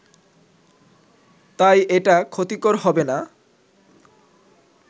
তাই এটা ক্ষতিকর হবেনা